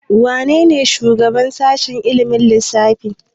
Wanene shugaban sashen ilimin lissafi?